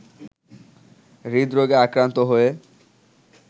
হৃদরোগে আক্রান্ত হয়ে